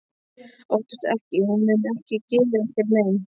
Óttastu ekki- hún mun ekki gera þér mein.